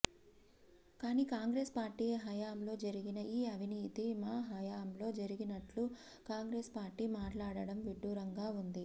కానీ కాంగ్రెస్ పార్టీ హయంలో జరిగిన ఈ అవినీతి మా హయంలో జరిగినట్లు కాంగ్రెస్ పార్టీ మాట్లాడటం విడ్డూరంగా ఉంది